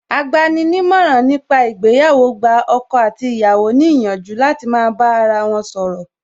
Agbani ní ìmọ̀ràn ní pa ìgbéyàwó gba ọkọ àti aya ní ìyànjú láti máa bá ara wọn sọ̀rọ̀